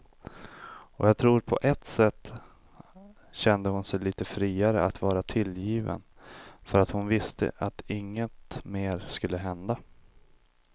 Och jag tror att på ett sätt kände hon sig lite friare att vara tillgiven för att hon visste att inget mer skulle hända.